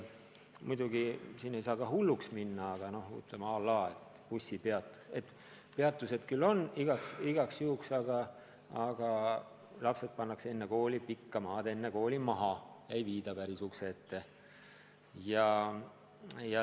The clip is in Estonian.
Muidugi sellega ei maksa ka hulluks minna, aga ütleme, et bussipeatuspeatused küll on igaks juhuks olemas, aga lapsed pannakse enne kooli tükk maad varem maha, ei viida päris ukse ette.